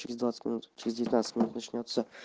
через двадцать минут через девятнадцать минут начнётся